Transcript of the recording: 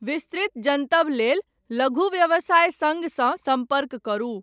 विस्तृत जनतब लेल, लघु व्यवसाय सङ्घसँ सम्पर्क करू।